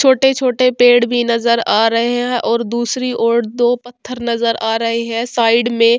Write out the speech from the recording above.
छोटे-छोटे पेड़ भी नजर आ रहे है और दूसरी और दो पत्थर नजर आ रहे है साइड में |